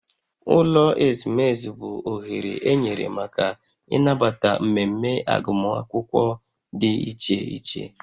Ụlọ ezumezu bụ oghere enyere maka ịnabata mmemme agụmakwụkwọ dị iche iche